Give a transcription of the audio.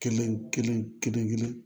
Kelen kelen kelen kelen kelen